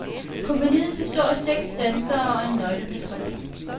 Kompagniet består af seks dansere og en nøgleperson.